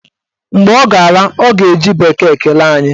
Mgbe ọ ga-ala, ọ ga-eji bekee kelee anyị